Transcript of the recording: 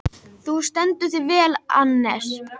Þú stendur þig vel, Annes!